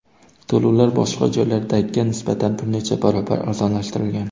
To‘lovlar boshqa joylardagiga nisbatan bir necha barobar arzonlashtirilgan.